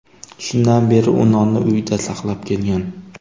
Shundan beri u nonni uyida saqlab kelgan.